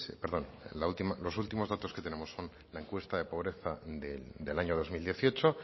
perdón los últimos datos que tenemos son la encuesta de pobreza del año dos mil dieciocho